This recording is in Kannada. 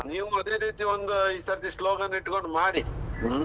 ನೀವು ಅದೆ ರೀತಿ ಒಂದೂ ಈಸರ್ತಿ slogan ಇಟ್ಕೊಂಡು ಮಾಡಿ, ಹ್ಮ್.